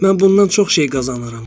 Mən bundan çox şey qazanaram.